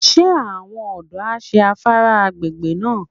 Ṣé àwọn ọ̀dọ́ á ṣé afárá agbègbè náà?